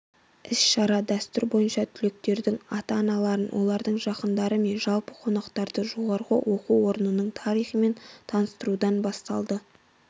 іс-шара дәстүр бойынша түлектердің ата-аналарын олардың жақындары мен жалпы қонақтарды жоғары оқу орынның тарихымен таныстырудан басталды